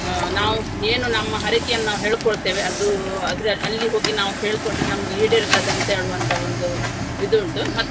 ಅಹ್ ನಾವು ಏನು ನಮ್ಮ ಹರಕೆಯನ್ನು ನಾವು ಹೇಳ್ಕೊಳ್ಳುತ್ತೇವೆ ಅದು ಅದ್ರ~ ಅಲ್ಲಿ ಹೋಗಿ ನಾವು ಹೇಳ್ಕೊಂಡ್ರೆ ನಮ್ಗೆ ಈಡೇರ್ತದೆ ಅಂತ ಹೇಳುವಂತ ಒಂದು ಇದು ಉಂಟು.